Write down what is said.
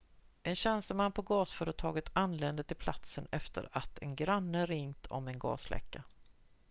en tjänsteman på gasföretaget anlände till platsen efter att en granne ringt om en gasläcka